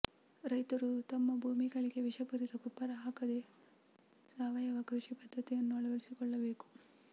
ರೈತರು ತಮ್ಮ ಭೂಮಿಗಳಿಗೆ ವಿಷಪೂರಿತ ಗೊಬ್ಬರ ಹಾಕದೇ ಸಾವಯವ ಕೃಷಿ ಪದ್ದತಿಯನ್ನು ಅಳವಡಿಸಿಕೊಳ್ಳಬೇಕು